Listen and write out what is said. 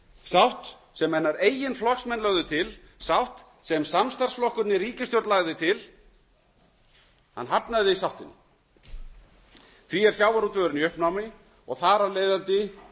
sátt sem hennar eigin flokksmenn lögðu til sátt sem samstarfsflokkurinn í ríkisstjórn lagði til hafnaði sáttinni því er sjávarútvegurinn í uppnámi og þar af leiðandi